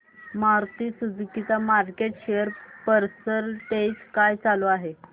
Maruti Suzuki चा market share percentage काय चालू आहे